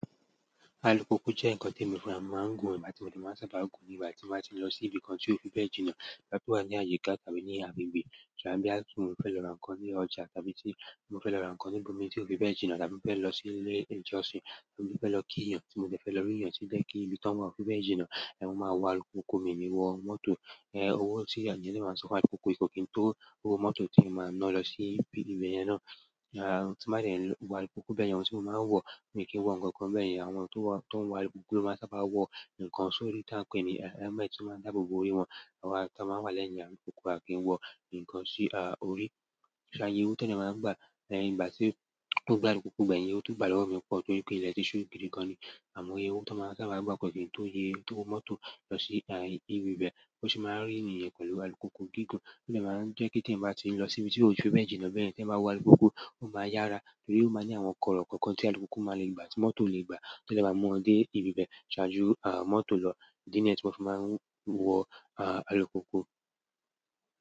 Alùpùpù jẹ́ ǹkan tí èmi fún ra mi máà ń gùn, bí mo ṣe bá sábà gùn nígbà tí mo bá ti ń lọ sí ibi kan tí ò fi bẹ́ẹ̀ jìnà, bí a bá wà ní àyíká tàbí ní agbègbè. Tàbí bóyá mo fẹ́ lọ ranko ní ọjà tàbí tí mo fẹ́ lọ ra ǹkan nibomi tí kò fi bẹ jìnnà tàbí mo fẹ́ lọ sílé ìjọsìn tí mo fẹ́ lọ kí èyán tí mo dé lọ rí èèyàn tí jẹ́ kí ìbí tí wọ́n wà ò fi bẹ́ẹ̀ jìnà, ẹ máa wọ alukupu mi wọ mọ́tò. Ẹ̀wọ̀ tí àwọn ènìyàn lè máa ń sọ fún alukupu kò kí n tó owó mọ́tò tí ẹ máa ń ná lọ sí ibi ìbẹ̀yẹ̀n náà. Ti ma dé wo alùpùpù bẹ́yẹn oun tí mo máa ń wo mi kí wo ǹkan ǹkan bẹ́yẹn àwọn tó ń alùpùpù lò máa ń sábà wo ǹkan sórí tá ń pè ní helmet tí ó máa ń dáàbò bò orí wọn, àwọn tí wọ́n wà lẹ́yìn alukupu à kí ń wọ ǹkan sí orí. Ṣàbí ẹyẹ owó tó ní màá ń gbà nígbà tí mo bá lọ alukupu bẹ́ẹ̀ yẹn, owó tó gbà lọ́wọ́ mi pọ̀ toripè ilé tí ṣu gidi gan ní. Àmọ́ iye owó tán máa ń sábà gba kó kín tó iye owó mọ́tò losi ibi bẹ́ bó ṣe máa ń rí nìyẹn pẹ̀lú alùpùpù gígun òde máa ń jẹ́ pé tí eyan bá ti lọ síbi tí kò fi bẹ́ jìnnà bẹ́yẹn tí eyan bá wo alùpùpù. Ó máa yára torí ó máa ní àwọn kọ̀rọ̀ kọ̀kan tí alukupu máa lè gba tí mọ́tò ò lè gba. To dé máa mú wọn dey ibi bẹ síwájú mọ́tò lo ìdí nìyẹn tí mo fi máa ń wo alùpùpù.